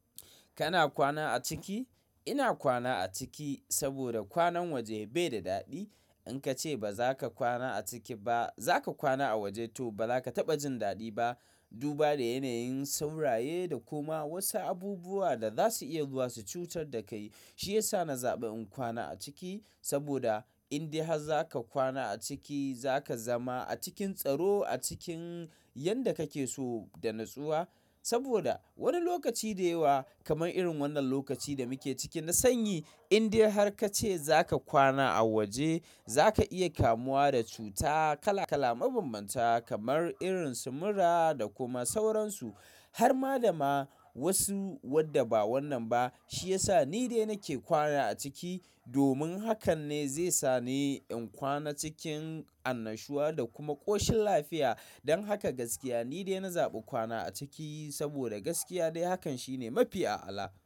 Kana kwana a ciki? Ina kwana a ciki saboda kwanan waje bai da daɗi. In ka ce ba za ka kwana a ciki ba, za ka kwana a waje to ba za ka taɓa jin daɗi ba. Duba da yanayin sauraye da kuma wasu abubuwa da za su iya zuwa su cutar da kai. Shi ya sa na zaɓi in kwana a ciki saboda in dai har za ka kwana a ciki, za ka zama a cikin tsaro, a cikin yadda kake so da natsuwa. Saboda wani lokaci da yawa kamar irin wannan lokacin da muke ciki, na sanyi. In dai har ka ce za ka kwana a waje, za ka iya kamuwa da cuta kala kala mabambanta kamar irin sumura da kuma sauransu har ma da ma wasu wadda ba wannan ba. Shi ya sa ni dai nake kwana a ciki domin hakan ne zai sa ni in kwana cikin annashuwa da kuma ƙoshin lafiya. Don haka gaskiya ni dai na zaɓi kwana a ciki saboda gaskiya dai hakan shine mafi a'ala.